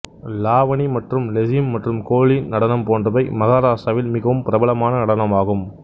லாவணி மற்றும் லெசிம் மற்றும் கோலி நடனம் போன்றவை மகாராட்டிராவில் மிகவும் பிரபலமான நடனமாகும்